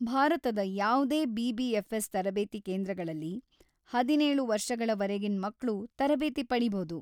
ಭಾರತದ ಯಾವ್ದೇ ಬಿ.ಬಿ.ಎಫ್.‌ಎಸ್.‌ ತರಬೇತಿ ಕೇಂದ್ರಗಳಲ್ಲಿ ಹದಿನೇಳು ವರ್ಷಗಳವರೆಗಿನ್ ಮಕ್ಳು ತರಬೇತಿ ಪಡೀಬೌದು.